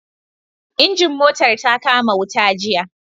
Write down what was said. Injin motar ta kama wuta jiya